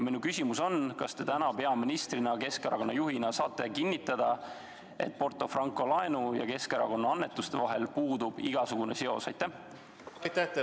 Minu küsimus on: kas te täna peaministrina, Keskerakonna juhina saate kinnitada, et Porto Franco laenu ja Keskerakonnale tehtud annetuste vahel puudub igasugune seos?